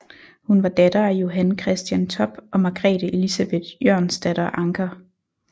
Hun var datter af Johan Christian Topp og Margrethe Elisabeth Jørgensdatter Ancher